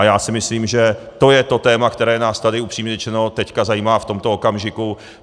A já si myslím, že to je to téma, která nás tady upřímně řečeno teďka zajímá v tomto okamžiku.